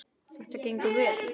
Þetta gengur vel.